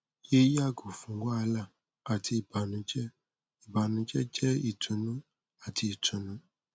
yẹ yago fun wahala ati ibanujẹ ibanujẹ jẹ itunu ati itunu